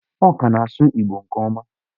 Ọ ka na-asụ Igbo nke ọma.